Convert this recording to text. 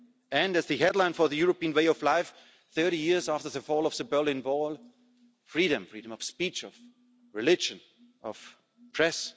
and, as the headline for the European way of life 30 years after the fall of the Berlin Wall, freedom freedom of speech, of religion, of the press.